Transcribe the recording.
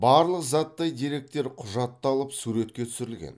барлық заттай деректер құжатталып суретке түсірілген